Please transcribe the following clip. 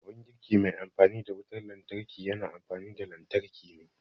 Abun girki mai amfani da wutar lantarki yana amfani da lantarki ne